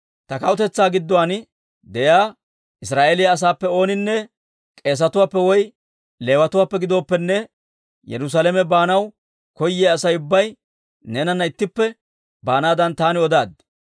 «Ta kawutetsaa gidduwaan de'iyaa Israa'eeliyaa asaappe ooninne, k'eesetuwaappe woy Leewatuwaappe gidooppenne, Yerusaalame baanaw koyiyaa Asay ubbay neenana ittippe baanaadan taani odaaddi.